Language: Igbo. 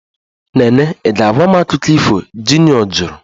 Nene ị ga-agwa m akụkọ ifo? Junior jụrụ